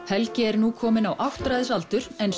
helgi er nú kominn á áttræðisaldur en